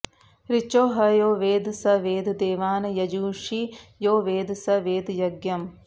ऋचो ह यो वेद स वेद देवान् यजूंषि यो वेद स वेद यज्ञम्